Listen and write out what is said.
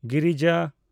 ᱜᱤᱨᱤᱡᱟ